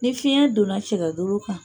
Ni fiyɛn donna cɛkɛ golo kan